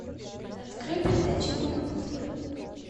открой передачу рубль на тв